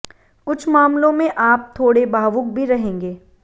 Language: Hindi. कुछ मामलों में आप थोड़े भावुक भी रहेंगे